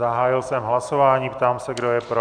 Zahájil jsem hlasování, ptám se, kdo je pro.